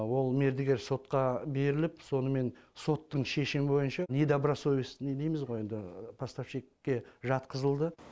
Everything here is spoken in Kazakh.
ол мердігер сотқа беріліп сонымен соттың шешімі бойынша недобросовестный дейміз ғой енді поставщикке жатқызылды